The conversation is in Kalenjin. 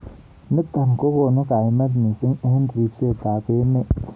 Nitok kokonu kaimet mising eng ribset ab emet.